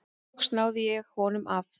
Loks náði ég honum af.